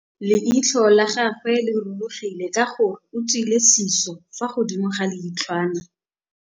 Leitlhô la gagwe le rurugile ka gore o tswile sisô fa godimo ga leitlhwana.